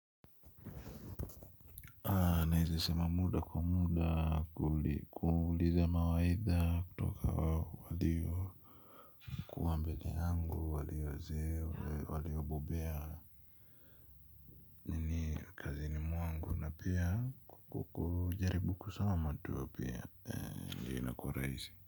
Nezasema muda kwa muda kuuliza mawaidha kutoka waliyo kuwa mbele yangu waliyozoea waliyobobea. Pia kukujaribu kusoma tu pia ndiyo inakuwa rahisi.